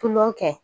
Tulon kɛ